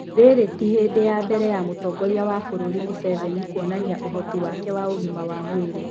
Rĩrĩ ti hĩndĩ ya mbere ya mũtongorĩa wa bũrũri Mũceveni kuonania ũhoti wake wa ũgima wa mwĩrĩ.